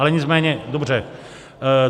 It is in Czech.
Ale nicméně, dobře.